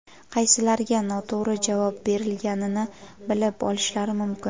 qaysilariga noto‘g‘ri javob berilganini bilib olishlari mumkin.